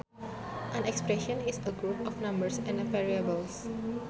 An expression is a group of numbers and variables